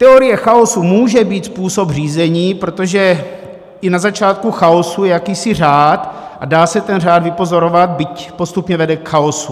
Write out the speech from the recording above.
Teorie chaosu může být způsob řízení, protože i na začátku chaosu je jakýsi řád a dá se ten řád vypozorovat, byť postupně vede k chaosu.